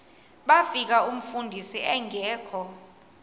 bafika umfundisi engekho